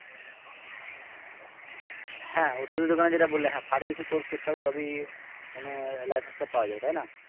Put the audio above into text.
হ্যাঁ ওষুধের দোকানে যেটা বললে হ্যাঁ pharmacy course করতে হবে তবে মানে licence টা পাওয়া যাবে তাই না?